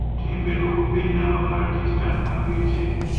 Timbe dwoko piny namba mar rejesta mar geche.